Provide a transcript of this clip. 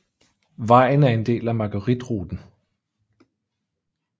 Vejen er en del af Margueritruten